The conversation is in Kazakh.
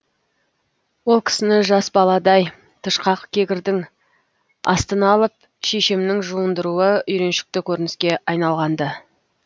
ол кісіні жас баладай тышқақ кегірдің астына алып шешемнің жуындыруы үйреншікті көрініске айналғанды